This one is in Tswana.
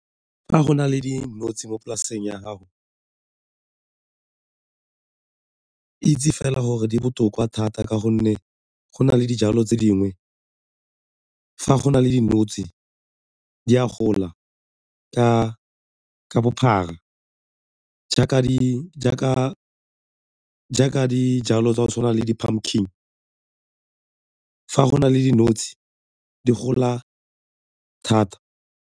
Fa go na le dinotshe mo polaseng ya gago, itse fela gore di botoka thata ka gonne go na le dijalo tse dingwe fa go na le dinotshe di a gola ka bophara jaaka dijalo tsa go tshwana le di-pumpkin fa go na le dinotshe di gola thata.